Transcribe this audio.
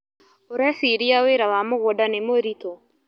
ũreciria wĩra wa mũgũnda nĩ mũritũ.